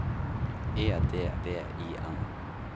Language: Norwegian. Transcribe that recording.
E D V I N